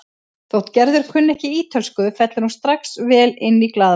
Þótt Gerður kunni ekki ítölsku fellur hún strax vel inn í glaðværð